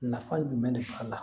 Nafa jumɛn de b'a la